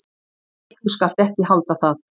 """Nei, þú skalt ekki halda það!"""